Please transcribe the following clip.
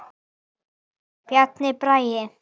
Bjarni Bragi.